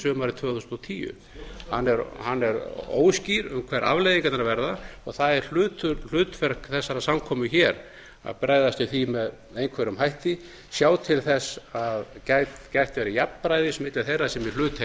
sumarið tvö þúsund og tíu hann er óskýr um hverjar afleiðingarnar verða og það er hlutverk þessarar samkomu hér að bregðast við því með einhverjum hætti sjá til þess að gætt verði jafnræðis milli þeirra sem í hluta